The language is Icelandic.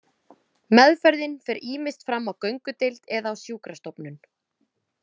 Meðferðin fer ýmist fram á göngudeild eða á sjúkrastofnun.